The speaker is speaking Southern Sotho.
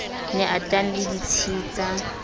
ne a teane le ditshita